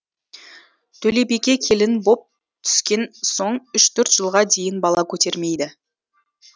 төлебике келін боп түскен соң үш төрт жылға дейін бала көтермейді